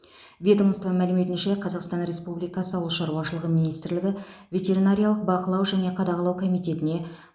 ведомство мәліметінше қазақстан республикасы ауыл шаруашылығы министрлігі ветеринариялық бақылау және қадағалау комитетіне